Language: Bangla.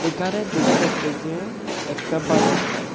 একানে দেকা যাচ্ছে যে একটা বাজার সাই--